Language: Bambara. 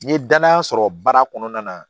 N ye danaya sɔrɔ baara kɔnɔna na